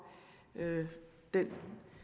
den